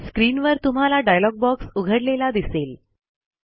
स्क्रीनवर तुम्हाला dialogue box उघडलेला दिसेल